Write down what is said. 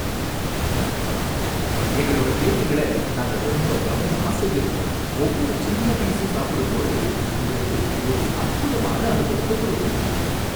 எங்களோட கேக்குகளை நாங்க ரொம்ப கவனமா செய்யுறோம், ஒவ்வொரு சின்ன பீசும் சாப்பிடும்போது உங்களுக்கு ஒரு அற்புதமான அனுபவத்தைக் குடுக்கும்.